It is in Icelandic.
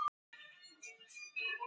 Hvað meinar hann eiginlega?